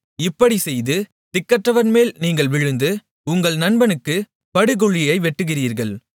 இப்படிச் செய்து திக்கற்றவன்மேல் நீங்கள் விழுந்து உங்கள் நண்பனுக்குப் படுகுழியை வெட்டுகிறீர்கள்